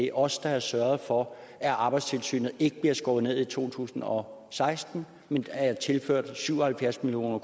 er os der har sørget for at arbejdstilsynet ikke bliver skåret ned i to tusind og seksten men er tilført syv og halvfjerds million